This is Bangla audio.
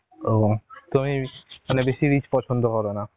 ও মানে তুমি বেশি rich পছন্দ কর না